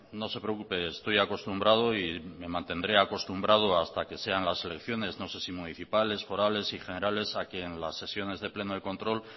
no se preocupe estoy acostumbrado y me mantendré acostumbrado hasta que sean las elecciones no sé si municipales forales y generales a que en las sesiones de pleno de control